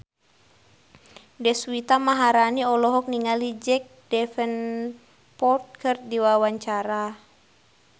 Deswita Maharani olohok ningali Jack Davenport keur diwawancara